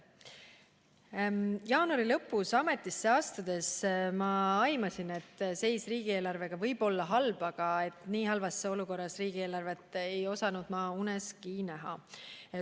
Jaanuari lõpus ametisse astudes ma aimasin, et seis riigieelarvega võib olla halb, aga nii halvas olukorras riigieelarvet ei osanud ma uneski näha.